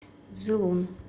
цзилун